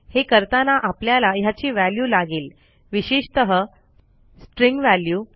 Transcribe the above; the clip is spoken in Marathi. हे करताना आपल्याला ह्याची व्हॅल्यू लागेल विशेषतः स्ट्रिंग वॅल्यू